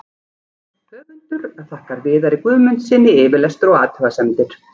Höfundur þakkar Viðari Guðmundssyni yfirlestur og athugasemdir.